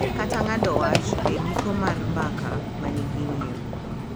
Kata ng’ado wach e giko mar mbaka ma nigi ng’iyo,